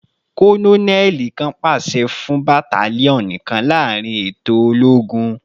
Kononeli kan paṣẹ fun battalion kan laarin eto ologun